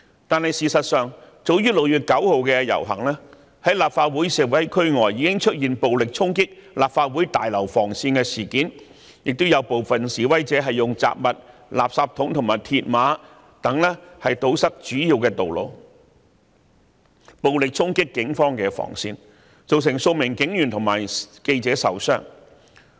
但事實上，早於6月9日的遊行，在立法會示威區外已出現暴力衝擊立法會綜合大樓防線的事件，亦有部分示威者以雜物、垃圾桶和鐵馬等堵塞主要道路，暴力衝擊警方防線，造成數名警員和記者受傷。